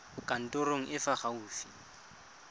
kantorong e e fa gaufi